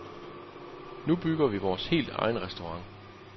Nu bygger vi vores helt egen restaurant.